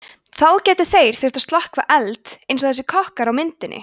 þá gætu þeir þurft að slökkva elda eins og þessir kokkar á myndinni